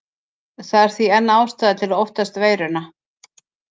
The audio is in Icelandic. Það er því enn ástæða til að óttast veiruna.